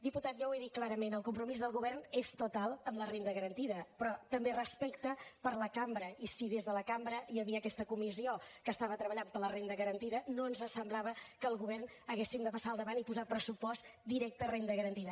diputat ja ho he dit clarament el compromís del govern és total amb la renda garantida però també respecte per a la cambra i si des de la cambra hi havia aquesta comissió que estava treballant per la renda garantida no ens semblava que el govern haguéssim de passar al davant i posar al pressupost directe renda garantida